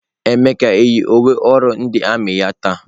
Emeka yi uwe ọrụ ndị armiị ya taa?